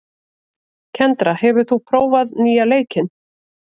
Kendra, hefur þú prófað nýja leikinn?